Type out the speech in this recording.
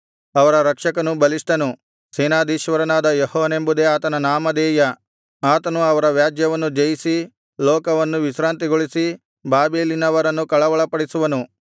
ಅವರ ರಕ್ಷಕನು ಬಲಿಷ್ಠನು ಸೇನಾಧೀಶ್ವರನಾದ ಯೆಹೋವನೆಂಬುದೇ ಆತನ ನಾಮಧೇಯ ಆತನು ಅವರ ವ್ಯಾಜ್ಯವನ್ನು ಜಯಿಸಿ ಲೋಕವನ್ನು ವಿಶ್ರಾಂತಿಗೊಳಿಸಿ ಬಾಬೆಲಿನವರನ್ನು ಕಳವಳಪಡಿಸುವನು